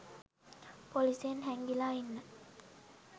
පොලිසියෙන් හැංගිලා ඉන්න.